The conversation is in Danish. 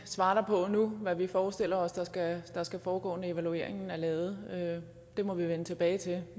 svare dig på nu hvad vi forestiller os der skal skal foregå når evalueringen er lavet det må vi vende tilbage til